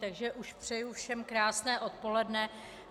Takže už přeju všem krásné odpoledne.